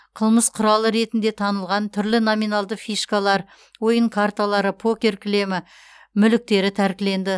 қылмыс құралы ретінде танылған түрлі номиналды фишкалар ойын карталары покер кілемі мүліктері тәркіленді